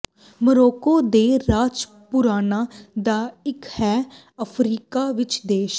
Morocco ਦੇ ਰਾਜ ਪੁਰਾਣਾ ਦਾ ਇੱਕ ਹੈ ਅਫ਼ਰੀਕਾ ਵਿਚ ਦੇਸ਼